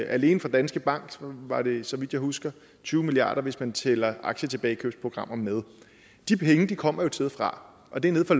alene for danske bank var det så vidt jeg husker tyve milliard kr hvis man tæller aktietilbagekøbsprogrammer med de penge kommer jo et sted fra og det er nede fra